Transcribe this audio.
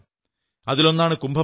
അതിലൊന്നാണ് കുംഭമേള